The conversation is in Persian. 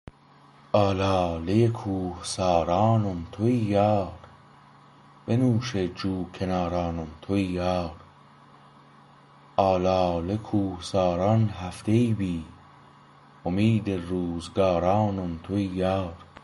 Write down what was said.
الاله ی کوهسارانم تویی یار بنوشه ی جوکنارانم تویی یار الاله کوهساران هفته ای بی امید روزگارانم تویی یار